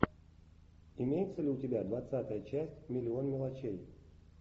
имеется ли у тебя двадцатая часть миллион мелочей